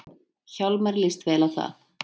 Hjálmari líst vel á það.